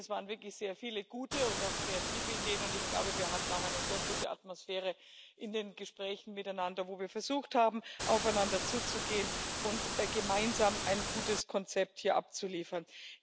Denn es waren wirklich sehr viele gute und auch kreative Ideen, und ich glaube, wir hatten auch eine sehr gute Atmosphäre in den Gesprächen miteinander, wo wir versucht haben, aufeinander zuzugehen und gemeinsam ein gutes Konzept hier abzuliefern.